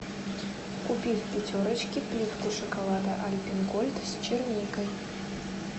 купи в пятерочке плитку шоколада альпен голд с черникой